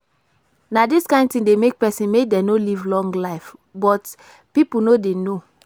Na dis kin thing dey make person make dem no live long life but people no dey know